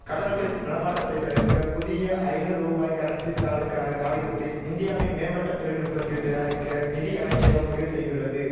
கள்ளநோட்டு நடமாட்டத்தைத் தடுக்க புதிய ஐநூ ரூபாய் கரன்சித் தாளுக்கான காகிதத்தை இந்தியாவின் மேம்பட்ட தொழில்நுட்பத்தில் தயாரிக்க நிதியமைச்சகம் முடிவு செய்துள்ளது